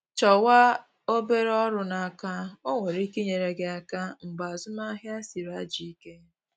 Chọwa obere ọrụ n’aka, o nwere ike nyere gị aka mgbe azụmahịa sịrị ajọ ike